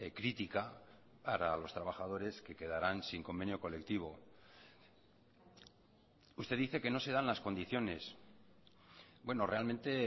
crítica para los trabajadores que quedarán sin convenio colectivo usted dice que no se dan las condiciones bueno realmente